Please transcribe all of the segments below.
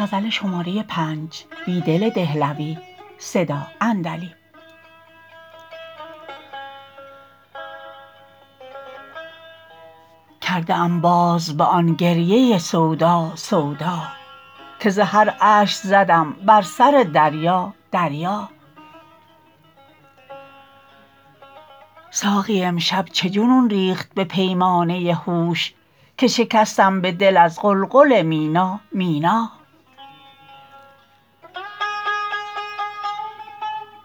کرده ام باز به آن گریه سودا سودا که ز هر اشک زدم بر سر دریا دریا ساقی امشب چه جنون ریخت به پیمانه هوش که شکستم به دل از قلقل مینا مینا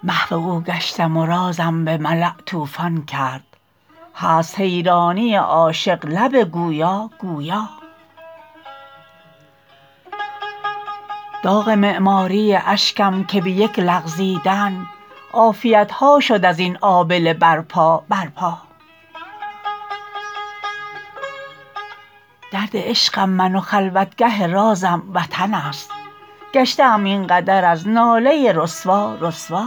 محو اوگشتم و رازم به ملاء توفان کرد هست حیرانی عاشق لب گویا گویا داغ معماری اشکم که به یک لغزیدن عافیتها شد ازین آبله برپا برپا دردعشقم من و خلوتگه رازم وطن است گشته ام اینقدر از ناله رسوا رسوا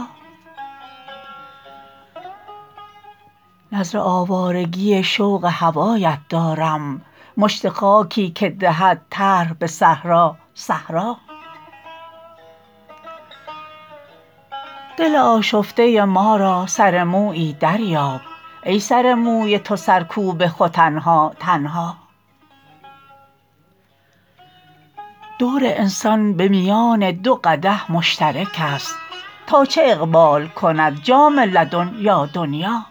نذر آوارگی شوق هوایت دارم مشت خاکی که دهد طرح به صحرا صحرا دل آشفته ما را سر مویی دریاب ای سرموی توسرکوب ختنها تنها دور انسان به میان دو قدح مشترک است تا چه اقبال کند جام لدن یا دنیا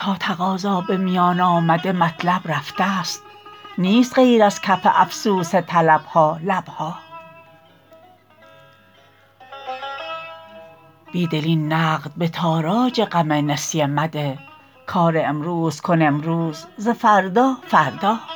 تا تقاضا به میان آمده مطلب رفته ست نیست غیر ازکف افسوس طلبها لبها بیدل این نقد به تاراج غم نسیه مده کار امروزکن امروز ز فردا فردا